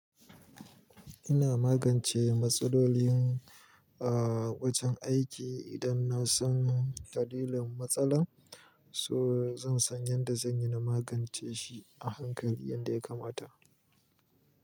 Ina magance matsalolin wajen aiki idan na san tadilin matsalar, so zan san yadda zan yi na magance shi a hankali yanda ya kamata.